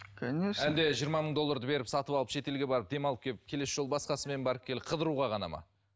конечно әлде жиырма мың долларды беріп сатып алып шетелге барып демалып келіп келесі жолы басқасымен барып келіп қыдыруға ғана ма